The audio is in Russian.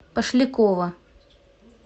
пошлякова